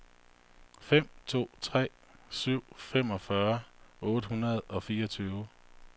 fem to tre syv femogfyrre otte hundrede og fireogtyve